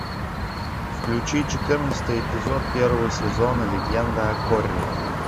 включи четырнадцатый эпизод первого сезона легенда о корре